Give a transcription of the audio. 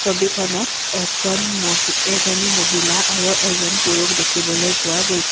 ছবিখনত এজন মহি এজনী মহিলা আৰু এজন পুৰুষ দেখিবলৈ পোৱা গৈছে।